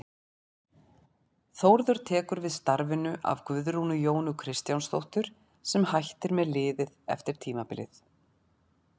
Þórður tekur við starfinu af Guðrúnu Jónu Kristjánsdóttur sem hætti með liðið eftir tímabilið.